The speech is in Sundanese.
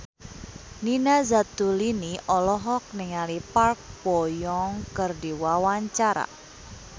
Nina Zatulini olohok ningali Park Bo Yung keur diwawancara